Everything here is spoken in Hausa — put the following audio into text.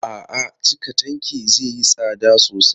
A'a, cika tankin zai yi tsada sosai.